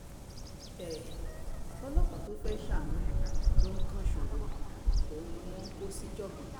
um ọlọ́pàá tó fẹ́ẹ́ ṣàánú ló ń kan ìṣòro òun ni wọ́n ń um kó síjàngbọ̀n